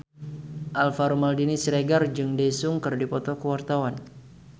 Alvaro Maldini Siregar jeung Daesung keur dipoto ku wartawan